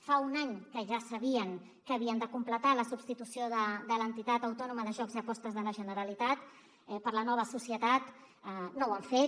fa un any que ja sabien que havien de completar la substitució de l’entitat autònoma de jocs i apostes de la generalitat per la nova societat no ho han fet